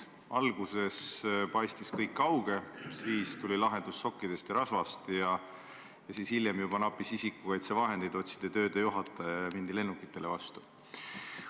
Alguses paistis kõik kauge, siis tuli lahendus sokkide ja rasva abil ning hiljem nappis juba isikukaitsevahendeid, otsiti töödejuhataja ja mindi lennukitele vastu.